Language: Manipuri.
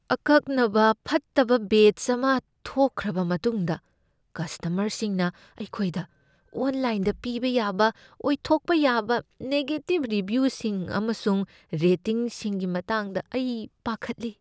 ꯑꯀꯛꯅꯕ ꯐꯠꯇꯕ ꯕꯦꯆ ꯑꯃ ꯊꯣꯛꯈ꯭ꯔꯕ ꯃꯇꯨꯡꯗ ꯀꯁꯇꯃꯔꯁꯤꯡꯅ ꯑꯩꯈꯣꯏꯗ ꯑꯣꯟꯂꯥꯏꯟꯗ ꯄꯤꯕ ꯌꯥꯕ ꯑꯣꯏꯊꯣꯛꯄ ꯌꯥꯕ ꯅꯦꯒꯦꯇꯤꯕ ꯔꯤꯚꯤꯌꯨꯁꯤꯡ ꯑꯃꯁꯨꯡ ꯔꯦꯇꯤꯡꯁꯤꯡꯒꯤ ꯃꯇꯥꯡꯗ ꯑꯩ ꯄꯥꯈꯠꯂꯤ꯫